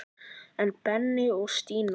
En Benni og Stína?